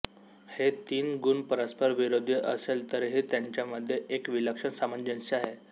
हे तीन गुण परस्पर विरोधी असेल तरीही त्यांच्यामध्ये एक विलक्षण सामंजस्य आहे